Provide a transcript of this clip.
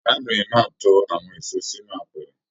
Arábìnrin náà tó àwọn èso sínú àpẹrẹ.